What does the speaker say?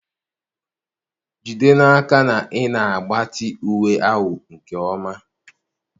Jide n'aka na ị na-agbatị uwe ahụ nke ọma.